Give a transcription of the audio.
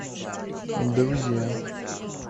друзья